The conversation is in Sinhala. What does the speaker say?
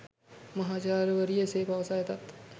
මහාචාර්යවරිය එසේ පවසා ඇතත්